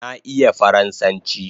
Na iya faransanchi